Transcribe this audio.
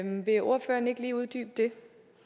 vil ordføreren ikke lige uddybe det